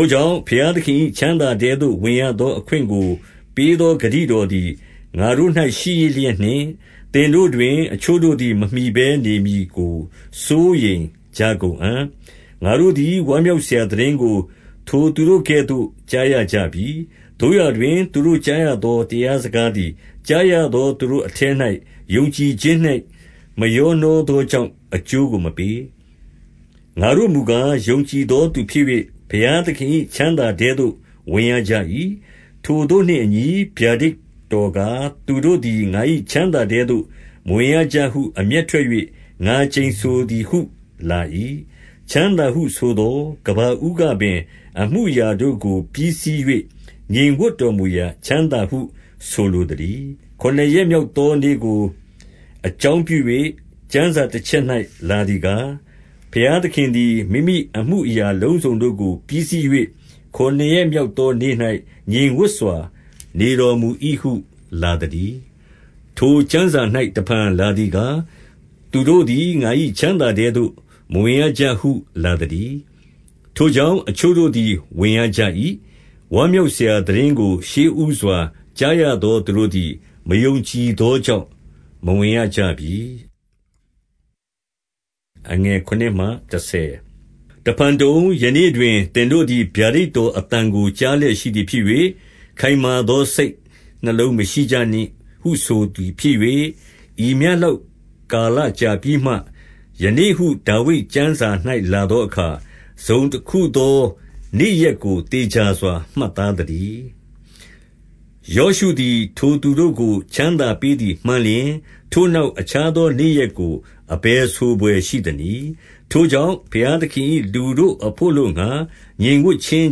ို့ကြောင့်၊ ဘုရားသခင်၏ ချမ်းသာထဲသို့ ဝင်ရသောအခွင့်ကို ပေးသော ဂတိတော်သည် ငါတို့၌ရှိရစ် လျက်နှင့်၊ သင်တို့တွင် အချို့တို့သည် မမှီဘဲနေမည်ကို စိုးရိမ်ကြကုန်အံ့။ 2 ငါတို့သည် ဝမ်းမြောက်စရာသိတင်းကို ထိုသူတို့ကဲ့သို့ ကြားရကြပြီ။ သို့ရာတွင် သူတို့ကြားရသော တရား စကားသည်၊ ကြားရသောသူတို့အထဲ၌ ယုံကြည်ခြင်းနှင့် မရောနှောသောကြောင့် အကျိုးကိုမပေး။ 3 ငါတို့မူကား၊ ယုံကြည်သောသူဖြစ်၍ ဘုရားသခင်၏ ချမ်းသာထဲသို့ ဝင်ကြရ၏။ ထိုသို့နှင့်အညီ ဗျာဒိတ်တော်ကား၊ သူတို့သည် ငါ၏ချမ်းသာထဲသို့ မဝင်ရကြဟု အမျက်ထွက်၍ ငါကျိန်ဆိုသည်ဟု လာ၏။ ချမ်းသာဟုဆိုသော်၊ ကမ္ဘာဦးကပင် အမှုအရာတို့ကို ပြီးစီး၍ ငြိမ်ဝပ်တော်မူရာ ချမ်းသာဟု ဆိုလိုသတည်း။ 4 ခုနစ်ရက်မြောက်သောနေ့ကို အကြောင်းပြု၍ ကျမ်းစာတချက်၌ လာသည်ကား၊ ဘုရားသခင်သည် မိမိအမှုအရာ အလုံးစုံတို့ကို ပြီးစီး၍ ခုနစ်ရက်မြောက်သောနေ့၌ ငြိမ်ဝပ်စွာနေတော်မူ၏ဟု လာသတည်း။ 5 ထိုကျမ်းစာ၌ တဖန်လာသည်ကား၊ သူတို့သည် ငါ၏ ချမ်းသာထဲသို့ မဝင်ရကြဟုလာသတည်း။ 6 ထိုကြောင့်၊ အချို့တို့သည် ဝင်ရကြ၏။ ဝမ်းမြောက်စရာ သိတင်းကို ရှေ့ဦးစွာ ကြားရသော သူတို့ သည် မယုံကြည်သောကြောင့် မဝင်ရကြပြီ။ 7 တဖန်တုံ၊ ယနေ့တွင် သင်တို့သည် ဗျာဒိတ်တော်အသံကို ကြားလျက်ရှိသည်ဖြစ်၍ ခိုင်မာ စိတ်နှလုံး မရှိကြနှင့်ဟုဆိုသည်ဖြစ်၍၊ ဤမျှလောက် ကာလကြာပြီးမှ၊ ယနေ့ဟု ဒါဝိဒ်ကျမ်းစာ၌ လာသောအခါ၊ တစုံတခု သော နေ့ရက်ကို သေချာစွာမှတ်သားသတည်း။ 8 ယောရှုသည် ထိုသူတို့ကို ချမ်းသာပေးသည် မှန်လျှင်၊ ထိုနောက် အခြားသောနေ့ရက်ကို အဘယ် ဆိုဘွယ်ရှိသနည်း။ 9 ထိုကြောင့်၊ ဘုရားသခင်၏လူတို့အဘို့အလိုငှါ ငြိမ်ဝပ်ခြင်း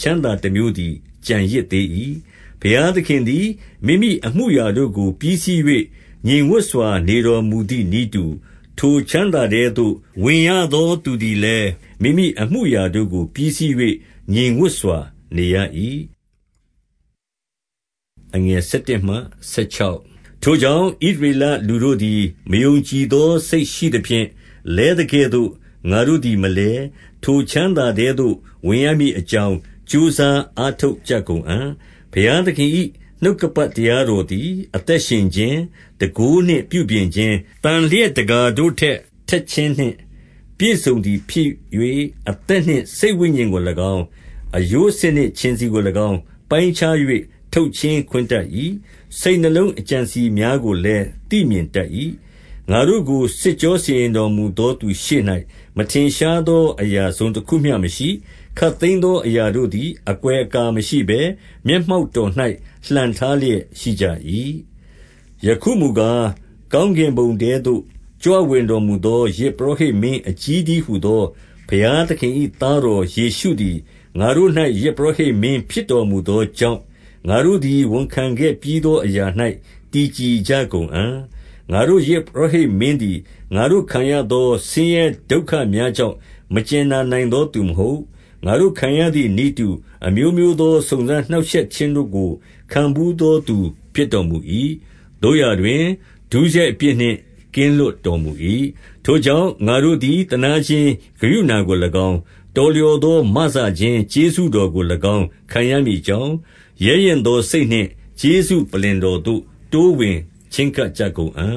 ချမ်းသာတမျိုးသည် ကျန်ရစ်သေး၏။ 10 ဘုရားသခင်သည် မိမိအမှုအရာတို့ကို ပြီးစီး၍ ငြိမ်ဝပ်စွာ နေတော်မူသည် နည်းတူ၊ ထိုချမ်းသာထဲသို့ ဝင်ရသောသူသည်လည်း မိမိအမှုအရာတို့ကို ပြီးစီး၍ ငြိမ်ဝပ်စွာနေရ၏။ 11 ထို့ကြောင့်၊ ဣသရေလလူတို့သည် မယုံကြည်သော စိတ်ရှိသဖြင့် လဲသကဲ့သို့ ငါတို့သည်မလဲ၊ ထိုချမ်းသာထဲသို့ ဝင်ရမည် အကြောင်းကြိုးစား အားထုတ်ကြကုန်အံ့။ 12 ဘုရားသခင်၏နှုတ်ကပတ်တရားတော်သည် အသက်ရှင်ခြင်း၊ တန်ခိုးနှင့်ပြုပြင်ခြင်း၊ သန်လျက်တကာ တို့ထက် ထက်ခြင်းနှင့် ပြည့်စုံသည်ဖြစ်၍၊ အသက်နှင့် စိတ်ဝိညာဉ်ကို၎င်း၊ အရိုးဆစ်နှင့် ခြင်ဆီကို၎င်း ပိုင်းခြား ၍ ထုတ်ချင်းခွင်းတတ်၏။ စိတ်နှလုံးအကြံအစည်များကိုလည်း သိမြင်တတ်၏။ 13 ငါတို့ကိုစစ်ကြောစီရင်တော်မူသော သူရှေ့၌ မထင်ရှားသော အရာတစုံတခုမျှမရှိ၊ ခပ်သိမ်းသော အရာတို့သည် အကွယ်အကာ မရှိဘဲ၊ မျက်မှောက်တော်၌ လှန်ထားလျက် ရှိကြ၏။ 14 ယခုမူကား၊ ကောင်းကင်ဘုံထဲသို့ ကြွဝင်တော်မူသော ယဇ်ပုရောဟိတ်မင်းအကြီးတည်းဟူသော ဘုရားသခင်၏ သားတော်ယေရှုသည် ငါတို့၌ ယဇ်ပုရောဟိတ်မင်း ဖြစ်တော်မူသောကြောင့်၊ ငါတို့သည် ဝန်ခံခဲ့ပြီးသောအရာ၌ တည်ကြည်ကြကုန်အံ့၊ 15 ငါတို့ယဇ်ပုရောဟိတ်မင်းသည် ငါတို့ခံရသော ဆင်းရဲဒုက္ခများကြောင့် မကြင်နာနိုင်သောသူမဟုတ်။ ငါတို့ခံရသည်နည်းတူ၊ အမျိုးမျိုးသော စုံစမ်းနှောင့်ရှက်ခြင်းတို့ကို ခံဘူးသောသူဖြစ်တော်မူ၏။ သို့ရာတွင်၊ ဒုစရိုက်အပြစ်နှင့် ကင်းလွတ်တော်မူ၏။ 16 ထို့ကြောင့်၊ ငါတို့သည် သနားခြင်း ကရုဏာကို၎င်း၊ တော်လျော်သောမစခြင်း ကျေးဇူးတော်ကို၎င်း ခံရမည်အကြောင်း၊ ရဲရင့်သောစိတ်နှင့် ကျေးဇူးပလ္လင်တော်သို့ တိုးဝင် ချည်းကပ်ကြကုန်အံ့